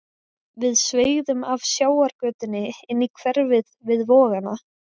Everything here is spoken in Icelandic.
Við sveigðum af sjávargötunni inn í hverfið við Vogana.